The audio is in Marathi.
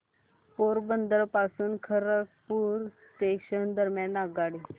पोरबंदर पासून खरगपूर जंक्शन दरम्यान आगगाडी